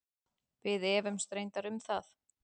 Við efumst reyndar um það.